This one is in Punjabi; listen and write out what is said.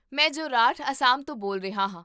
ਮੈਂ ਜੋਰਹਾਟ, ਅਸਾਮ ਤੋਂ ਬੋਲ ਰਿਹਾ ਹਾਂ